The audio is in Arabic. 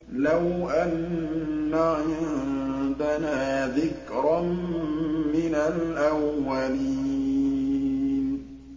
لَوْ أَنَّ عِندَنَا ذِكْرًا مِّنَ الْأَوَّلِينَ